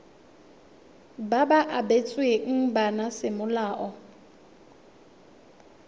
ba ba abetsweng bana semolao